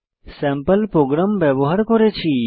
sample program ব্যবহার করেছি